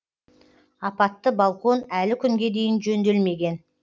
апатты балкон әлі күнге дейін жөнделмеген